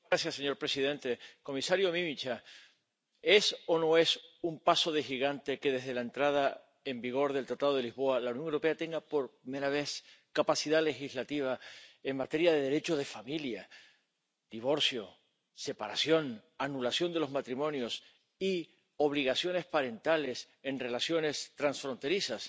Señor presidente, comisario Mimica, es o no es un paso de gigante que, desde la entrada en vigor del Tratado de Lisboa, la Unión Europea tenga, por primera vez, capacidad legislativa en materia de Derecho de familia, divorcio, separación, anulación de los matrimonios y obligaciones parentales en relaciones transfronterizas.